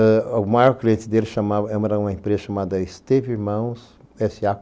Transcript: Aí o maior cliente dele era uma empresa chamada Esteve Irmãos S.A.